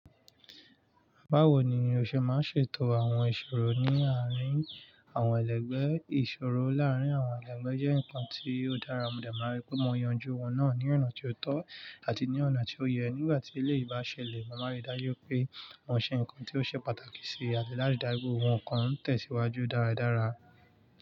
Bawo ni yoo ṣe máa ṣètò àwọn ìṣòro ní àárín àwọn ẹlẹgbẹ́? Ìṣòro láàárín àwọn ẹlẹgbẹ́ jẹ́ nǹkan tí ó dára, mo dààmú aré pé mo yanjú wọn náà ní ọ̀nà tó tọ́ àti ní ọ̀nà tí ó yẹ. Nígbà tí ilé yìí bá ṣẹlẹ̀, mo màá n rí dájú pé mò ń ṣe nǹkan tí ó ṣe pàtàkì sí àti láti dáwọ́ ohun kan tẹ̀síwájú dáradára.